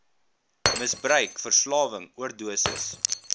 misbruik verslawing oordosis